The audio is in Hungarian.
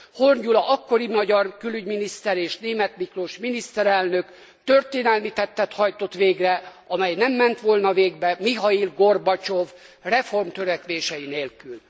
Horn Gyula akkori magyar külügyminiszter és Németh Miklós miniszterelnök történelmi tettet hajtott végre, amely nem ment volna végbe Mihail Gorbacsov reformtörekvései nélkül.